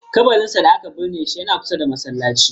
Kabarinsa da aka binne shi yana kusa da masallacin.